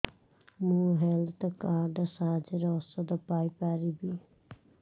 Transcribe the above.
ମୁଁ health card ସାହାଯ୍ୟରେ ଔଷଧ ପାଇ ପାରିବି